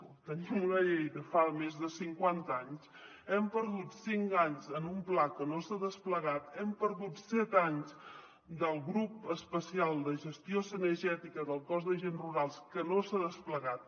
o tenim una llei de fa més de cinquanta anys hem perdut cinc anys en un pla que no s’ha desplegat hem perdut set anys del grup especial de gestió cinegètica del cos d’agents rurals que no s’ha desplegat